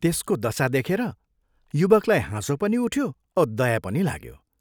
त्यसको दशा देखेर युवकलाई हाँसो पनि उठ्यो औ दया पनि लाग्यो।